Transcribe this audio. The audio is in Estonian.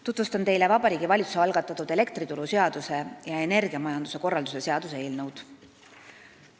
Tutvustan teile Vabariigi Valitsuse algatatud elektrituruseaduse ja energiamajanduse korralduse seaduse muutmise seaduse eelnõu.